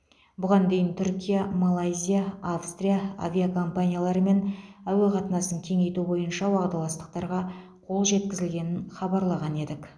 бұған дейін түркия малайзия австрия авиакомпанияларымен әуе қатынасын кеңейту бойынша уағдаластықтарға қол жеткізілгенін хабарлаған едік